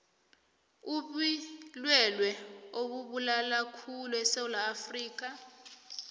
ubilwelwe obubulalakhulu esewula afrikha